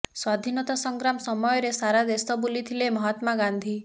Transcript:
ସ୍ୱାଧୀନତା ସଂଗ୍ରାମ ସମୟରେ ସାରା ଦେଶ ବୁଲିଥିଲେ ମହାତ୍ମା ଗାନ୍ଧୀ